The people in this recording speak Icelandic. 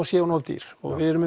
sé of dýr við erum